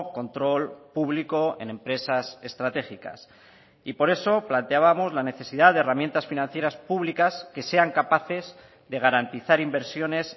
control público en empresas estratégicas y por eso planteábamos la necesidad de herramientas financieras públicas que sean capaces de garantizar inversiones